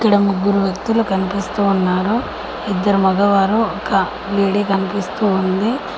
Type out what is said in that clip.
ఇక్కడ ముగ్గురు వ్యక్తులు కనిపిస్తూ ఉన్నారు ఇద్దరు మగవారు ఒక లేడి కనిపిస్తూ ఉంది.